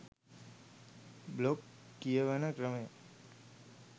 blog කියවන ක්‍රමේ